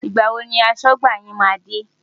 Ìgbà wo ni aṣọ́gbà yín máa dé?